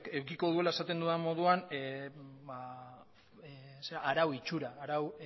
edukiko duela esaten dudan moduan arau itxura arau